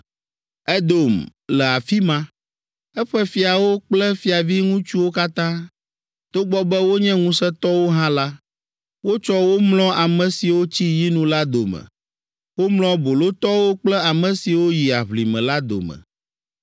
“Edom le afi ma, eƒe fiawo kple fiaviŋutsuwo katã. Togbɔ be wonye ŋusẽtɔwo hã la, wotsɔ wo mlɔ ame siwo tsi yinu la dome. Womlɔ bolotɔwo kple ame siwo yi aʋlime la dome.